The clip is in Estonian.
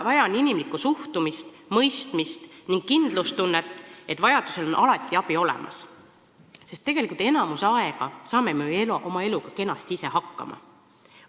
Vaja on inimlikku suhtumist, mõistmist ja kindlustunnet, et vajadusel on alati abi olemas, sest enamiku ajast saame me ju oma eluga kenasti ise hakkama.